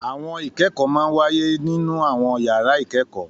Àwọn ìkẹ́kọ̀ọ́ máa ń wáyé nínú àwọn yàrá ìkẹ́kọ̀ọ́